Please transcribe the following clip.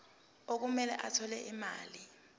okumele athole imali